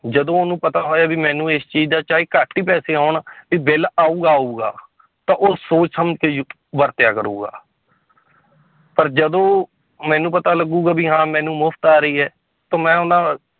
ਜਦੋਂ ਉਹਨੂੰ ਪਤਾ ਹੋਇਆ ਵੀ ਮੈਨੂੰ ਇਸ ਚੀਜ਼ ਦਾ ਚਾਹੇ ਘੱਟ ਹੀ ਪੈਸੇ ਆਉਣ ਵੀ ਬਿੱਲ ਆਊਗਾ ਆਊਗਾ ਤਾਂ ਉਹ ਸੋਚ ਸਮਝ ਕੇ ਯੂ ਵਰਤਿਆ ਕਰੂਗਾ ਪਰ ਜਦੋਂ ਮੈਨੂੰ ਪਤਾ ਲੱਗੁਗਾ ਵੀ ਹਾਂ ਮੈਨੂੰ ਮੁਫ਼ਤ ਆ ਰਹੀ ਹੈ ਤਾਂ ਮੈਂ ਉਹਨਾਂ